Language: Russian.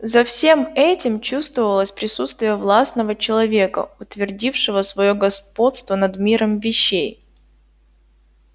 за всем этим чувствовалось присутствие властного человека утвердившего своё господство над миром вещей